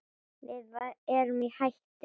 Við erum í hættu!